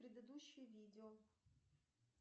предыдущее видео